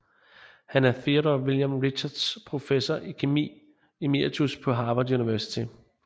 Han er Theodore William Richards Professor i kemi emeritus på Harvard University